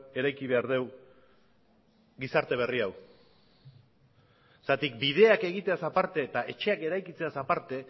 eraiki behar dugu gizarte berri hau zergatik bideak egiteaz aparte eta etxeak eraikitzeaz aparte